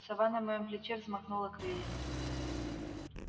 сова на моём плече взмахнула крыльями